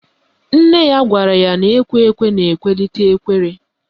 Nne ya gwara ya na ekwe ekwe na-ekwe n'ite ekwere